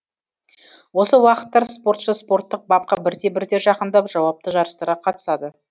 осы уақыттар спортшы спорттық бапқа бірте бірте жақындап жауапты жарыстарға қатысады